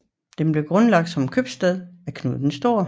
Den blev grundlagt som købstad af Knud den Store